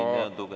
Rinne on tugev.